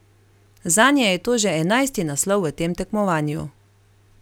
Zanje je to že enajsti naslov v tem tekmovanju.